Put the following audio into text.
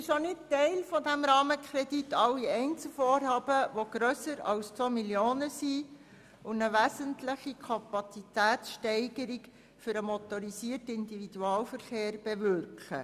Nicht Teil dieses Rahmenkredits sind alle Einzelvorhaben, die grösser als 2 Mio. Franken sind und eine wesentliche Kapazitätssteigerung für den motorisierten Individualverkehr (MIV) bewirken.